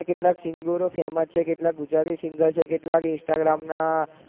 કેટલા singer famous છે કેટલા ક ગુજરાતી singer છે કેટલાક instagram ના